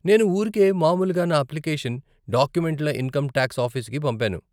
నేను ఊరికే మామూలుగా నా అప్లికేషన్, డాక్యుమెంట్ల ఇన్కం టాక్స్ ఆఫీసుకి పంపాను.